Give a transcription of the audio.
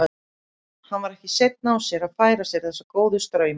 Hann var ekki seinn á sér að færa sér þessa góðu strauma í nyt.